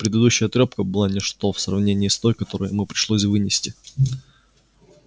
предыдущая трёпка была ничто в сравнении с той которую ему пришлось вынести